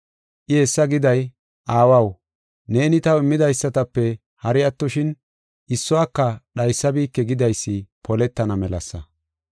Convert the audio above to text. I hessa giday, “Aawaw, neeni taw immidaysatape hari attoshin issuwaka dhaysabike” gidaysi poletana melasa.